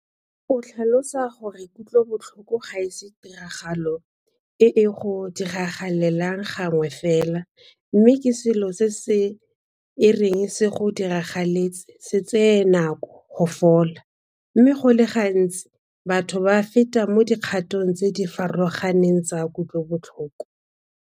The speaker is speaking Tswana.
O tlhalosa gore kutlobotlhoko ga se tiragalo e e go diragalelang gangwe fela mme ke selo se e reng se go diragaletse se tsee nako go fola, mme go le gantsi batho ba feta mo dikgatong tse di farologaneng tsa kutlobotlhoko.